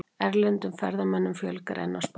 Erlendum ferðamönnum fjölgar enn á Spáni